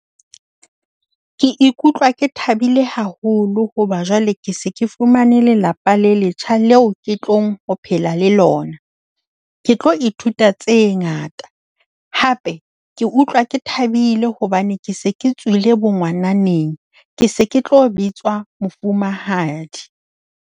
Ke ikutlwa ke thabile haholo hoba jwale ke se ke fumane lelapa le letjha leo ke tlo phela le lona. Ke tlo ithuta tse ngata, hape ke utlwa ke thabile hobane ke se ke tswile bongwananeng. Ke se ke tlo bitswa mofumahadi.